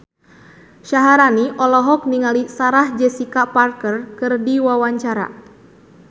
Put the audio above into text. Syaharani olohok ningali Sarah Jessica Parker keur diwawancara